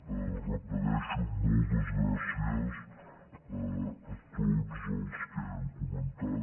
ho repeteixo moltes gràcies a tots els que han comentat